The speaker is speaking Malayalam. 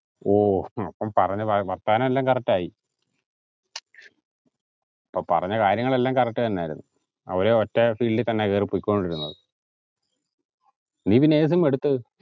ഓഹ് പറഞ്ഞതാ വാർത്താനെല്ലാം correct ആയി അപ്പൊ പറഞ്ഞ കാര്യങ്ങൾ എല്ലാം correct തന്നെയിരുന്നു അവര് ഒറ്റ field ഇൽ തന്നെയാ കേറിപ്പോയിക്കൊണ്ടിരുന്നത നീ പിന്നെ ഏത് sim അ എടുത്തത്